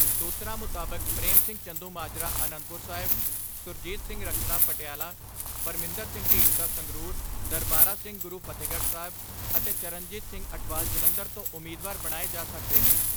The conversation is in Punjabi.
ਸੂਤਰਾਂ ਮੁਤਾਬਕ ਪ੍ਰੇਮ ਸਿੰਘ ਚੰਦੂਮਾਜਰਾ ਆਨੰਦਪੁਰ ਸਾਹਿਬ, ਸੁਰਜੀਤ ਸਿੰਘ ਰੱਖੜਾ ਪਟਿਆਲਾ, ਪਰਮਿੰਦਰ ਸਿੰਘ ਢੀਂਡਸਾ ਸੰਗਰੂਰ, ਦਰਬਾਰਾ ਸਿੰਘ ਗੁਰੂ ਫਤਹਿਗੜ੍ਹ ਸਾਹਿਬ ਅਤੇ ਚਰਨਜੀਤ ਸਿੰਘ ਅਟਵਾਲ ਜਲੰਧਰ ਤੋਂ ਉਮੀਦਵਾਰ ਬਣਾਏ ਜਾ ਸਕਦੇ ਨੇ।